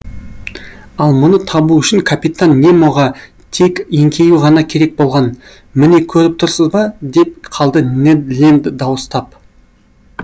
ал мұны табу үшін капитан немоға тек еңкею ғана керек болған міне көріп тұрсыз ба деп қалды нед ленд дауыстап